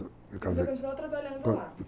Você continuou trabalhando lá?